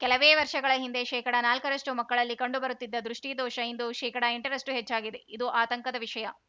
ಕೆಲವೇ ವರ್ಷಗಳ ಹಿಂದೆ ಶೇಕಡನಾಲ್ಕರಷ್ಟುಮಕ್ಕಳಲ್ಲಿ ಕಂಡುಬರುತ್ತಿದ್ದ ದೃಷ್ಠಿದೋಷ ಇಂದು ಶೇಕಡ ಎಂಟರಷ್ಟುಹೆಚ್ಚಾಗಿದೆ ಇದು ಆತಂಕದ ವಿಷಯ